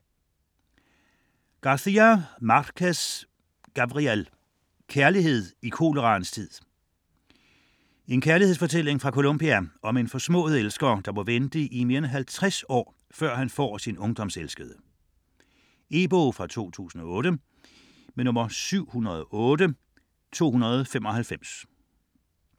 García Márquez, Gabriel: Kærlighed i koleraens tid En kærlighedsfortælling fra Colombia om en forsmået elsker, der må vente i mere end halvtreds år, før han får sin ungdomselskede. E-bog 708295 2008.